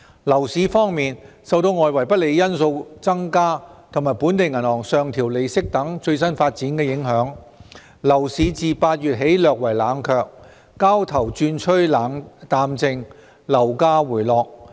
樓市方面，受外圍不利因素增加和本地銀行上調利率等最新發展影響，樓市自8月起略為冷卻，交投轉趨淡靜，樓價回落。